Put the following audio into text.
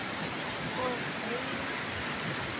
Og launin?